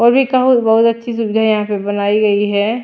और भी बहुत अच्छी सुविधा यहां पे बनाई गई है।